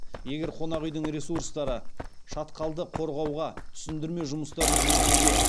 егер қонақ үйдің ресурстары шатқалды қорғауға түсіндірме жұмыстарын жүргізуге